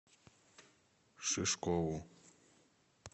шишкову